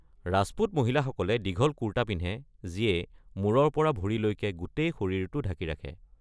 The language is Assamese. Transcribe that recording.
ৰাজপুত মহিলাসকলে দীঘল কুৰ্তা পিন্ধে যিয়ে মূৰৰ পৰা ভৰিলৈকে গোটেই শৰীৰটো ঢাকি ৰাখে।